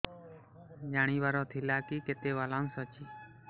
ଜାଣିବାର ଥିଲା କି କେତେ ବାଲାନ୍ସ ଅଛି